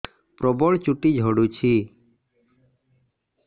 ପ୍ରବଳ ଚୁଟି ଝଡୁଛି